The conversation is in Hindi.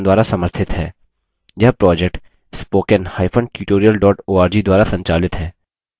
यह project